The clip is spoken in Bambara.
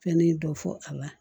Fɛnnin dɔ fɔ a la